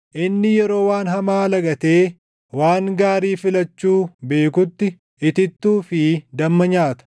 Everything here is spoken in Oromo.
Inni yeroo waan hamaa lagatee waan gaarii filachuu beekutti itittuu fi damma nyaata.